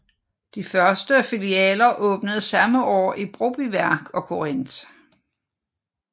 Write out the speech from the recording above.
De første filialer åbnede samme år i Brobyværk og Korinth